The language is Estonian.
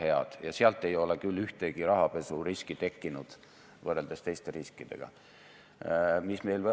Aga ka Swedbanki puhul on kunagiste kriteeriumite järgi need riskid või need probleemid ikkagi imepisikesed.